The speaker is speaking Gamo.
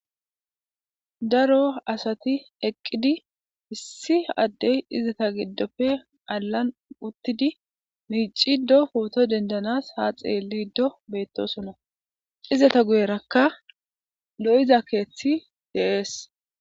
Daro asati eqidi izeta gidoppe issinozi galan uttidi poto dendana micidi utides ha xelido betosona izeta guyeraka doyiza kethiy de'es